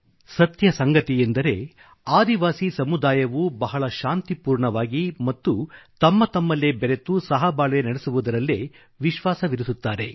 ಸತ್ಯ ಸಂಗತಿಯೆಂದರೆ ಆದಿವಾಸಿ ಸಮುದಾಯವು ಬಹಳ ಶಾಂತಿಪೂರ್ಣವಾಗಿ ಮತ್ತು ತಮ್ಮತಮ್ಮಲ್ಲೇ ಬೆರೆತು ಸಹಬಾಳ್ವೆ ನಡೆಸುವುದರಲ್ಲೇ ವಿಶ್ವಾಸವಿರಿಸುತ್ತಾರೆ